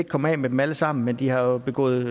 komme af med dem alle sammen men de har jo begået